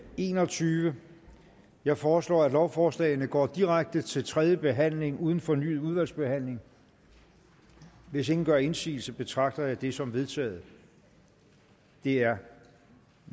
enogtyvende jeg foreslår at lovforslagene går direkte til tredje behandling uden fornyet udvalgsbehandling hvis ingen gør indsigelse betragter jeg dette som vedtaget det er